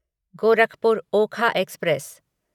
Gorakhpur Okha express